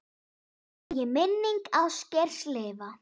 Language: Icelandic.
Megi minning Ásgeirs lifa.